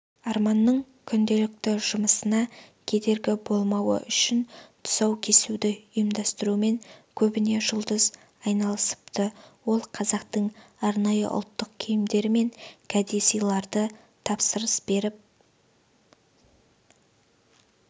арманның күнделікті жұмысына кедергі болмауы үшін тұсау кесуді ұйымдастырумен көбіне жұлдыз айналысыпты ол қазақтың арнайы ұлттық киімдері мен кәдесыйларды тапсырыс беріп